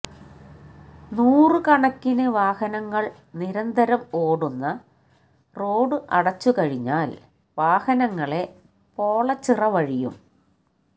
നൂറ് കണക്കിന് വാഹനങ്ങള് നിരന്തരം ഓടുന്ന റോഡ് അടച്ചുകഴിഞ്ഞാല് വാഹനങ്ങളെ പോളച്ചിറ വഴിയും